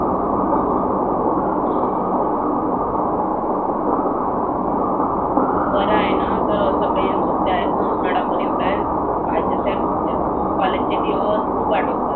बरं आहेना अं सगळे सुट्ट्या आहेत ना उन्हाळा एवढा आहे. पाहीजेच यार सुट्ट्या. college चे दिवस खुप आठवतात.